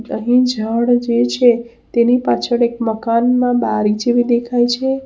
અહીં ઝાડ જે છે તેની પાછળ એક મકાનમાં બારી જેવી દેખાય છે.